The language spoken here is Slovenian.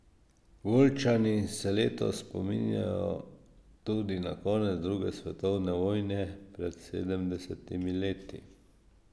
Volčani se letos spominjajo tudi na konec druge svetovne vojne pred sedemdesetimi leti.